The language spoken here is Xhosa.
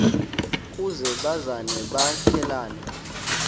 ukuze bazane baqhelane